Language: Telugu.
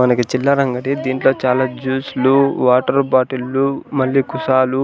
మనకి చిల్లర అంగడి దీంట్లో చాలా జూస్లు వాటర్ బాటిల్లు మళ్ళీ కుసాలు